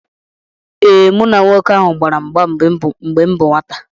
Ee,m na nwoke ahụ gbara mgba mgbe m bụ nwata